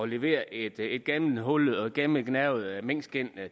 levere et et gennemhullet og gennemgnavet minkskind